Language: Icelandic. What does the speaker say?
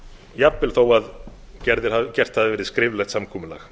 jafnvel þó að gert hafi verið skriflegt samkomulag